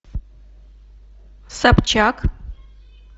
собчак